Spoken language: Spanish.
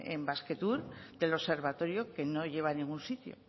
en basquetour del observatorio que no lleva a ningún sitio